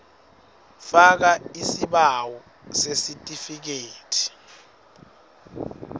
faka isibawo sesitifikethi